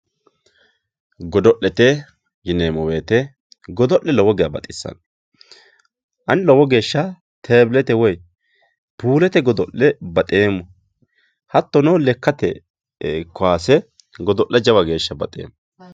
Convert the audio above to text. godo'lete yinnemo woyiite godo'le lowo geya baxissanno ani lowo geesha teebilete woye puulete godo'le baxeemmo hattono lekkate koyaase godo'le jawa geeshsha baxeemmo